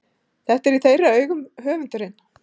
Þetta er í þeirra augum höfundurinn